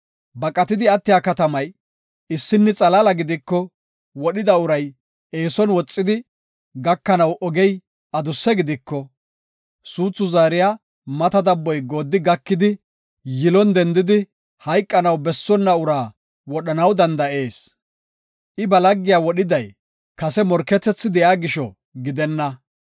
Baqatidi attiya katamay issinni xalaala gidiko, wodhida uray eeson woxidi gakanaw ogey adusse gidiko, suuthi zaariya mata dabboy gooddi gakidi, yilon dendidi hayqanaw bessonna uraa wodhanaw danda7ees. I ba laggiya wodhiday kase morketethi de7iya gisho gidenna.